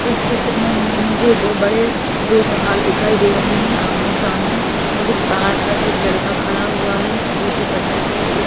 इस चित्र में मुझे दो बड़े दो पहाड़ दिखाई दे रहे हैं आमने सामने और इस पहाड़ पर एक लड़का खड़ा हुआ है दूसरे पत्थर पे ए --